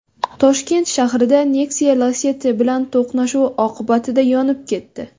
Toshkent shahrida Nexia Lacetti bilan to‘qnashuvi oqibatida yonib ketdi.